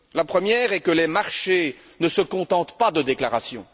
La première est que les marchés ne se contentent pas de déclarations.